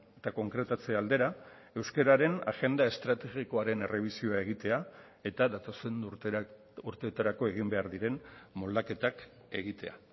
eta konkretatze aldera euskararen agenda estrategikoaren errebisioa egitea eta datozen urteetarako egin behar diren moldaketak egitea